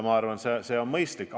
Ma arvan, et see on mõistlik.